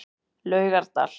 Laugardal